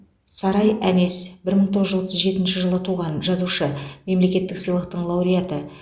сарай әнес бір мың тоғыз жүз отыз жетінші жылы туған жазушы мемлекеттік сыйлықтың лауреаты